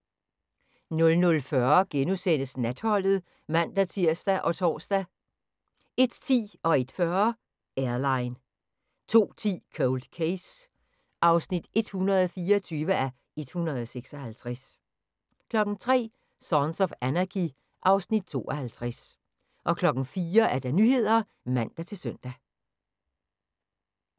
00:40: Natholdet *(man-tir og tor) 01:10: Airline 01:40: Airline 02:10: Cold Case (124:156) 03:00: Sons of Anarchy (Afs. 52) 04:00: Nyhederne (man-søn)